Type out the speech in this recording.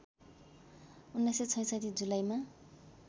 १९६६ जुलाईमा